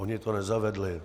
Oni to nezavedli.